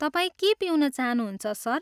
तपाईँ के पिउन चाहनुहुन्छ सर?